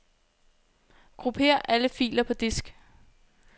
Grupper alle filer på disk.